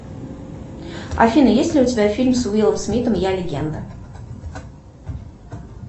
афина есть ли у тебя фильм с уиллом смитом я легенда